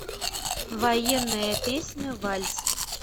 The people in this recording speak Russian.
военная песня вальс